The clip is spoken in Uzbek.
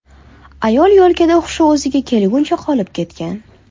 Ayol yo‘lkada hushi o‘ziga kelguncha qolib ketgan.